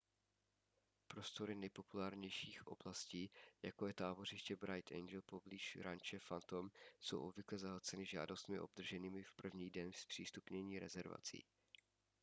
prostory nejpopulárnějších oblastí jako je tábořiště bright angel poblíž ranče phantom jsou obvykle zahlceny žádostmi obdrženými v první den zpřístupnění rezervací